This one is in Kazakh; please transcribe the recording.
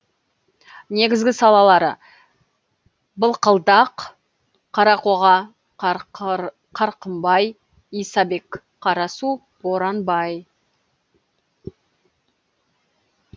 негізгі салалары былқылдақ қарақоға қарқымбай исабек қарасу боранбай